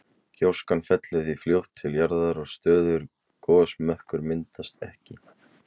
Gjóskan fellur því fljótt til jarðar og stöðugur gosmökkur myndast ekki.